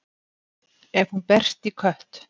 ef hún berst í kött